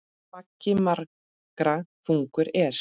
Baggi margra þungur er.